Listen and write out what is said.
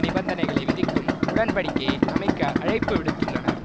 நிபந்தனைகளை விதிக்கும் உடன்படிக்கையை அமைக்க அழைப்பு விடுத்துள்ளனர்